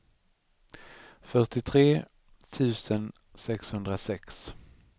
fyrtiotre tusen sexhundrasex